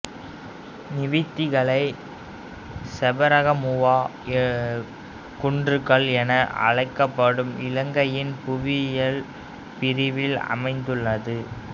நிவித்திகலை சபரகமுவா குன்றுகள் என அழைக்கப்படும் இலங்கையின் புவியியல் பிரிவில் அமைந்துள்ளது